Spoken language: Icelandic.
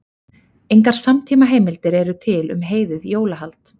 Engar samtímaheimildir eru til um heiðið jólahald.